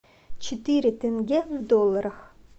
четыре тенге в долларах